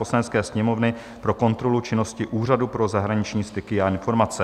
Poslanecké sněmovny pro kontrolu činnosti Úřadu pro zahraniční styky a informace